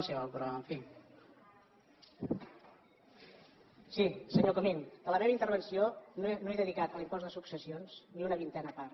sí senyor comín de la meva intervenció no he dedicat a l’impost de successions ni una vintena part